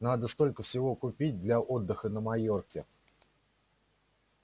надо столько всего купить для отдыха на майорке